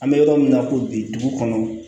An bɛ yɔrɔ min na ko bi dugu kɔnɔ